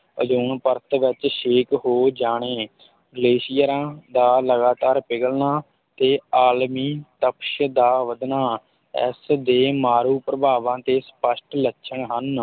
Ozone ਪਰਤ ਵਿੱਚ ਛੇਕ ਹੋ ਜਾਣੇ ਗਲੇਸ਼ੀਅਰਾਂ ਦਾ ਲਗਾਤਾਰ ਪਿਘਲਣਾ ਤੇ ਆਲਮੀ ਤਪਸ਼ ਦਾ ਵੱਧਣਾ ਇਸ ਦੇ ਮਾਰੂ ਪ੍ਰਭਾਵਾਂ ਦੇ ਸਪਸ਼ਟ ਲੱਛਣ ਹਨ।